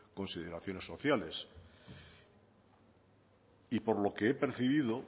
consideraciones sociales y por lo que he percibido